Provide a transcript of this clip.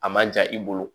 A man ja i bolo